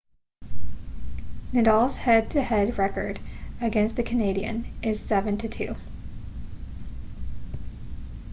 nadal's head to head record against the canadian is 7-2